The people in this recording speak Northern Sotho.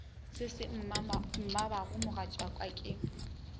se se mmabago mogatšaka ke